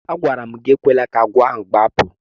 Agwara m gị ekwela ka agwọ ahụ gbapụ!